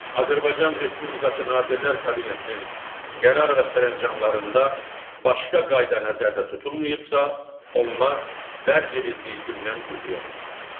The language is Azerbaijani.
Azərbaycan Respublikası Nazirlər Kabinetinin qərar və sərəncamlarında başqa qayda nəzərdə tutulmayıbsa, onlar dərc edildiyi gündən qüvvəyə minir.